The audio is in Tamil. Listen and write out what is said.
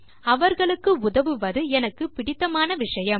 அவர்களுக்கு உதவுவது எனக்கு பிடித்தமான விஷயம்